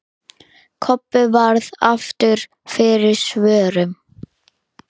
Kobbi varð aftur fyrir svörum.